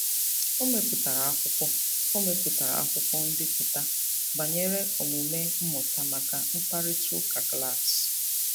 O mepụtara akwụkwọ O mepụtara akwụkwọ mbipụta banyere omume mmụta maka mkparịtaụka klaasị.